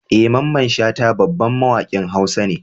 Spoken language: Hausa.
Eh Mamman shata babban mawakin hausa ne.